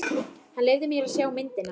Hann leyfði mér að sjá myndina.